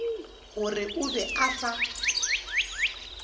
gore o be a sa